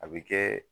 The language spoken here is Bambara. A bɛ kɛ